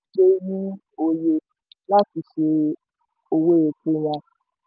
láti ṣé owó epo wa